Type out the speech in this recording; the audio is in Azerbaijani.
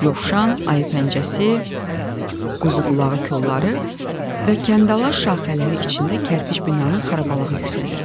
Yovşan, ayı pəncəsi, quzuqulağı kolları və kəndəlaşaxələri içində kərpiç binanın xarabalıq yüksəlirdi.